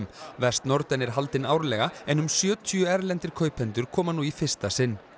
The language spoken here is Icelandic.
vestnorden er haldin árlega en um sjötíu erlendir kaupendur koma nú í fyrsta sinn